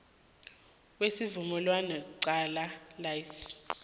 kwesivumelwanesi qala incenye